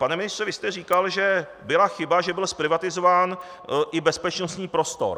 Pane ministře, vy jste říkal, že byla chyba, že byl zprivatizován i bezpečnostní prostor.